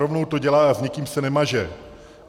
Rovnou to dělá a s nikým se nemaže.